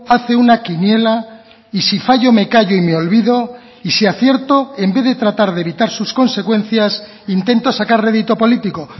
hace una quiniela y si fallo me callo y me olvido y si acierto en vez de tratar de evitar sus consecuencias intento sacar redito político